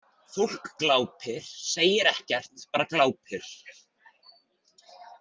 Fólk glápir, segir ekkert, bara glápir.